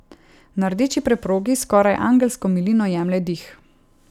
Na rdeči preprogi s skoraj angelsko milino jemlje dih.